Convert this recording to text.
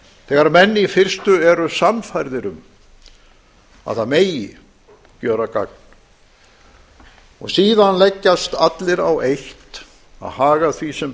þegar menn í fyrstu eru sannfærðir um að það megi gjöra gagn og síðan leggjast allir á eitt að haga því sem